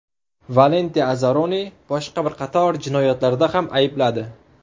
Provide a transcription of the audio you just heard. Valenti Azaroni boshqa bir qator jinoyatlarda ham aybladi.